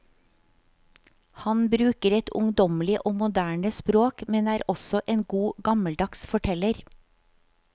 Han bruker et ungdommelig og moderne språk, men er også en god gammeldags forteller.